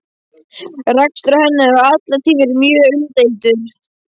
Rekstur hennar hefur alla tíð verið mjög umdeildur.